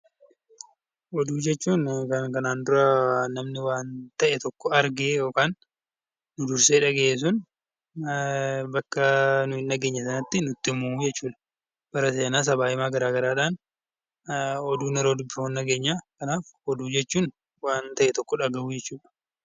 Oduu jechuun wanta namni kanaan dura namni tokko arge yookaan nu dursee dhagaye sun bakka nuti hin dhageenye sanatti yeroo himu jechuudha. Oduun yeroo dubbifamu dhageenya. Oduu jechuun waan ta'e tokko dhagahuudha.